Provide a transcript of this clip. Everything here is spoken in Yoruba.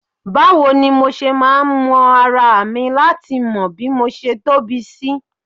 Báwo ni mo ṣe máa wọn ara mi láti mọ bí mo ṣe tóbi sí